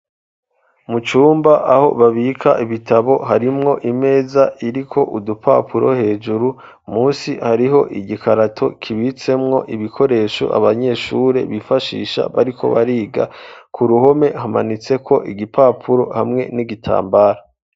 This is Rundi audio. Mu cumba aho babika ibitabo harimwo imeza iriko udupapuro hejuru musi hariho igikarato kibitsemwo ibikoresho abanyeshure bifashisha bariko bariga, ku ruhome hamanitseko igipapuro hamwe n'igitambara.